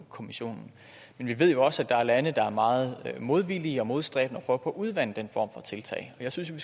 kommissionen men vi ved jo også at der er lande der er meget modvillige og modstræbende og prøver på at udvande den form for tiltag jeg synes jo